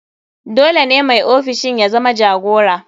Dole ne mai ofishin ya zama jagora.